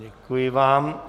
Děkuji vám.